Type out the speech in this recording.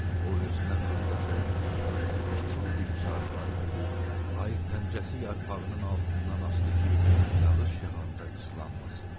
O özünə xırdaca otlardan kiçik bir çarpayı hörmüş, ayı pəncəsi yarpağının altından asdı ki, yağış yağanda islanmasın.